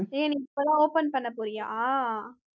ஏன் நீ இப்பல்லாம் open பண்ணப் போறியா